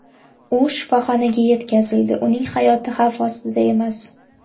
U shifoxonaga yetkazildi, uning hayoti xavf ostida emas.